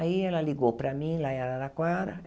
Aí ela ligou para mim, lá em Araraquara.